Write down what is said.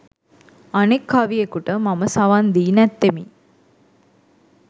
අනෙක් කවියෙකුට මම සවන් දී නැත්තෙමි.